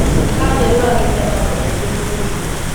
Kanja yũragĩte andũ aingĩ bũrũri-inĩ.